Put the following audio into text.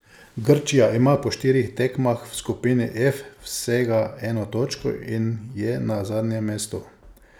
Grčija ima po štirih tekmah v skupini F vsega eno točko in je na zadnjem mestu.